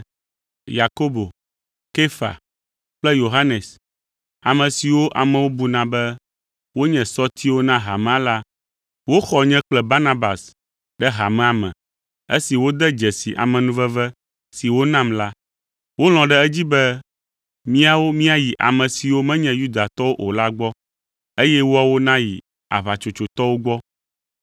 Yakobo, Kefa kple Yohanes, ame siwo amewo buna be wonye sɔtiwo na hamea la, woxɔ nye kple Barnabas ɖe hamea me esi wode dzesi amenuveve si wonam la. Wolɔ̃ ɖe edzi be míawo míayi ame siwo menye Yudatɔwo o la gbɔ, eye woawo nayi aʋatsotsotɔwo gbɔ.